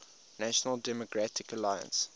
national democratic alliance